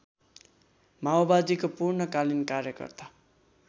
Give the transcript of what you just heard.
माओवादीको पूर्णकालीन कार्यकर्ता